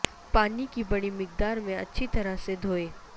پانی کی بڑی مقدار میں اچھی طرح سے دھوئیں